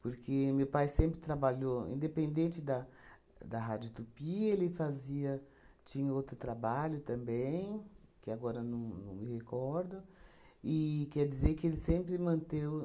Porque meu pai sempre trabalhou, independente da da rádio Tupi, ele fazia, tinha outro trabalho também, que agora não mão me recordo, e quer dizer que ele sempre manteu